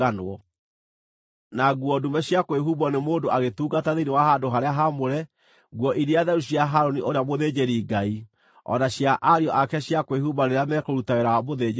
na nguo ndume cia kwĩhumbwo nĩ mũndũ agĩtungata thĩinĩ wa handũ-harĩa-haamũre, nguo iria theru cia Harũni ũrĩa mũthĩnjĩri-Ngai, o na cia ariũ ake cia kwĩhumba rĩrĩa mekũruta wĩra wa mũthĩnjĩri-Ngai.